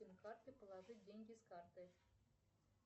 карты положить деньги с карты